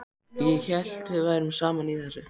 Ég hélt við værum saman í þessu.